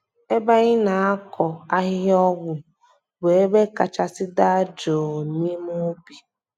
Ebe anyị na-akọ ahịhịa ọgwụ bụ ebe kachasị daa jụụ n’ime ubi.